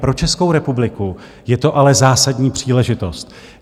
Pro Českou republiku je to ale zásadní příležitost.